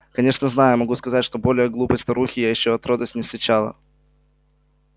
конечно знаю и могу сказать что более глупой старухи я ещё отродясь не встречала